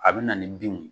A bɛ na ni binw ye